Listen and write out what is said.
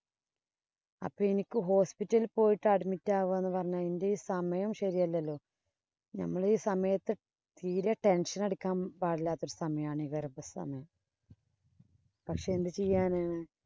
അപ്പൊ എനിക്ക് hospital ഇല്‍ പോയിട്ട് admit ആവുക എന്ന് പറഞ്ഞു കഴിഞ്ഞാല്‍ എന്‍റെ ഈ സമയം ശരിയല്ലല്ലോ. നമ്മള്‍ ഈ സമയത്ത് തീരെ tension അടിക്കാന്‍ പാടില്ലാത്ത സമയം ആണ് ഈ ഗര്‍ഭസമയം പക്ഷെ എന്ത് ചെയ്യാനാ?